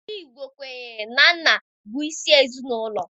Ndị Igbo kwenyere na nna bụ isi ezinụlọ